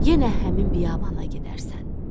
Yenə həmin biyabana gedərsən.